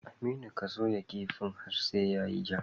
Aminu ka soya kifin har sai yayi ja